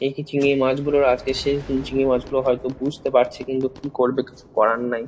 এই চিংড়ি মাছগুলোর আজকে শেষ দিন চিংড়ি মাছগুলো হয়তো বুঝতে পারছে কিন্তু কী করবে কিছু করার নাই।